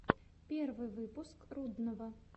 первый выпуск рудного